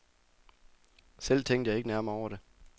Selv tænkte jeg ikke nærmere over det.